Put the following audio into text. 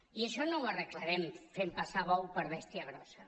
i això no ho arreglarem fent passar bou per bèstia grossa